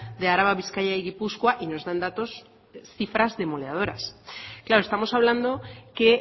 de araba bizkaia y gipuzkoa y nos dan datos cifras demoledoras claro estamos hablando que